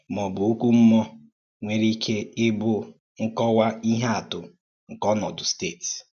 Má ọ bụ̀ ọ́kụ́ mmúọ̀ nwèrè ìké íbụ̀ nkọ́wa ìhè àtụ̀ nke ònòdù, stéétì?